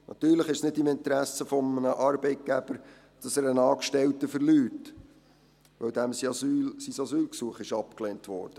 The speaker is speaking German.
Natürlich ist es nicht im Interesse eines Arbeitgebers, dass er einen Angestellten verliert, weil sein Asylgesuch abgelehnt wurde.